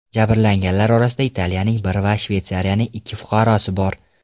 Jabrlanganlar orasida Italiyaning bir va Shvetsiyaning ikki fuqarosi bor.